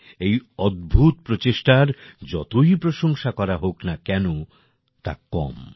এই অদ্ভুত প্রচেষ্টার যতই প্রশংসা করা হোক না কেনো তা কম